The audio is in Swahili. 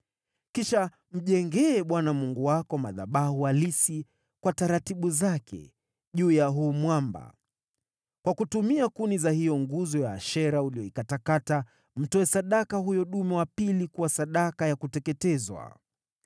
Kisha mjengee Bwana Mungu wako, madhabahu halisi, kwa taratibu zake, juu ya huu mwamba. Kwa kutumia kuni za hiyo nguzo ya Ashera uliyoikatakata, mtoe sadaka huyo dume wa pili kuwa sadaka ya kuteketezwa.”